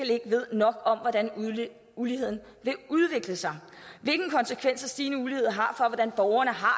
ikke ved nok om hvordan uligheden vil udvikle sig hvilke konsekvenser stigende ulighed har for hvordan borgerne har